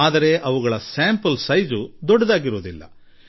ಆದರೆ ಅದರ ಮಾದರಿಯ ಗಾತ್ರ ದೊಡ್ಡದಿರುವುದಿಲ್ಲ